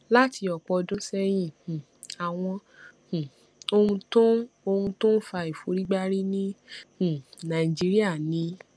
láti òpò ọdún séyìn um àwọn um ohun tó ń ohun tó ń fa ìforígbárí ní um nàìjíríà ni